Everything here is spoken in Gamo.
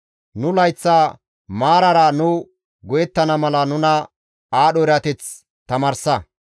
Nu layththa maarara nu go7ettana mala nuna aadho erateth tamaarsa.